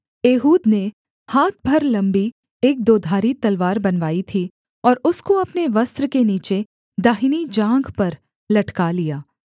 Ehud ने हाथ भर लम्बी एक दोधारी तलवार बनवाई थी और उसको अपने वस्त्र के नीचे दाहिनी जाँघ पर लटका लिया